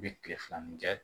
I bi tile filanan kɛ